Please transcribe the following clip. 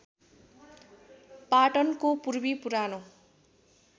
पटनाको पूर्वी पुरानो